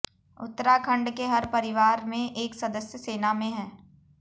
उत्तराखण्ड के हर परिवार से एक सदस्य सेना में है